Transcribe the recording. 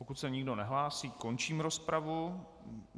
Pokud se nikdo nehlásí, končím rozpravu.